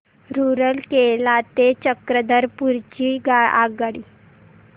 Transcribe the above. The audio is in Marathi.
रूरकेला ते चक्रधरपुर ची आगगाडी